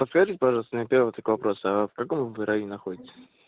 подскажите пожалуйста на первый такой вопрос а в каком районе вы находитесь